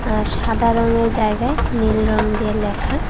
আর সাদা রঙের জায়গায় নীল রং দিয়ে লেখা।